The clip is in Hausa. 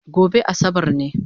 Gobe asabar ne?